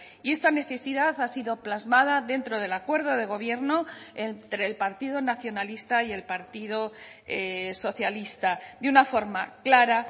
y esta necesidad ha sido plasmada dentro del acuerdo de gobierno entre el partido nacionalista y el partido socialista de una forma clara